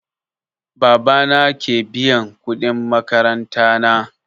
Baba na ke biyan kuɗin makaranta na